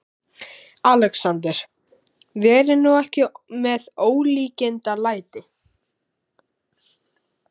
ALEXANDER: Verið nú ekki með ólíkindalæti.